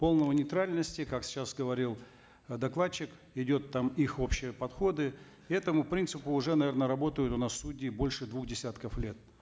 полной нейтральности как сейчас говорил э докладчик идет там их общие подходы этому принципу уже наверно работают у нас судьи уже больше двух десятков лет